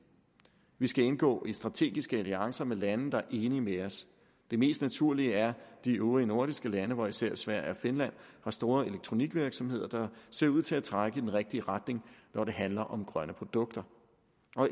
vi skal indgå i strategiske alliancer med lande der er enige med os det mest naturlige er de øvrige nordiske lande hvor især sverige og finland har store elektronikvirksomheder der ser ud til at trække i den rigtige retning når det handler om grønne produkter